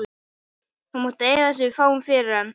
Þú mátt eiga það sem við fáum fyrir hann, elskan.